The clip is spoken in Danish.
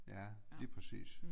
Ja lige præcis